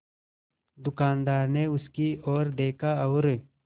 दुकानदार ने उसकी ओर देखा और